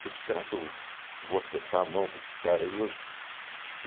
Tipo, será que eu vou acertar a mão com esses caras aí hoje?